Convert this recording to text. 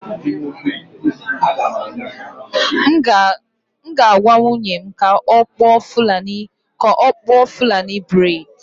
M ga-agwa nwunye m ka ọ kpụọ fulani braid